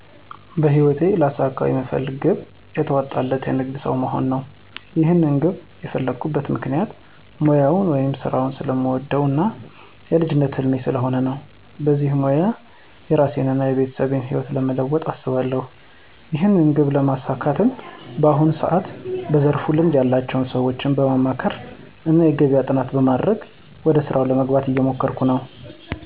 በህይወቴ ላሳካው ምፈልገው ግብ የተዋጣለት የንግድ ሠው መሆን ነው። ይህንን ግብ የፈላኩበት ምክንያት ሙያውን ወይም ስራውን ስለምወደው እና የልጅነቴ ህልም ስለሆነ ነው። በዚህም ስራ የራሴን እና የቤተሰቤን ህይወት ለመለወጥ አስባለሁ። ይህንን ግብ ለማሳካትም በአሁኑ ሰዓት በዘርፉ ልምድ ያላቸው ሰዎችን በማማከር እና የገበያ ጥናት በማድረግ ወደ ስራ ለመግባት እየሞከርኩ ነው።